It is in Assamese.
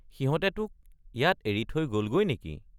সিহঁতে তোক ইয়াত এৰি থৈ গলগৈ নেকি?